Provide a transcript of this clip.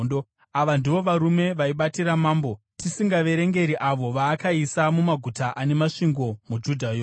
Ava ndivo varume vaibatira mambo, tisingaverengi avo vaakaisa mumaguta ane masvingo muJudha yose.